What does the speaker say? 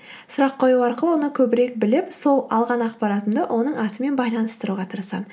сұрақ қою арқылы оны көбірек біліп сол алған ақпаратымды оның атымен байланыстыруға тырысамын